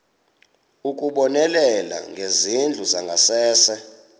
ukubonelela ngezindlu zangasese